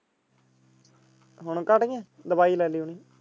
ਹੁਣ ਖੜੀ ਦਵਾਈ ਲੈਲਿਓ।